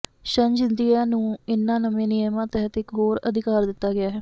ਸ਼ਨਜ਼ India ਨੂੰ ਇਨ੍ਹਾਂ ਨਵੇਂ ਨਿਯਮਾਂ ਤਹਿਤ ਇਕ ਹੋਰ ਅਧਿਕਾਰ ਦਿੱਤਾ ਗਿਆ ਹੈ